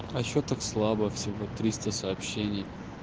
а что так слабо всего триста сообщений